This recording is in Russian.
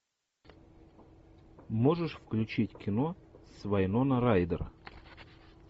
можешь включить кино с вайнона райдер